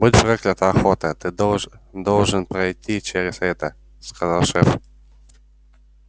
будь проклята охота ты должен должен пройти через это сказал шеф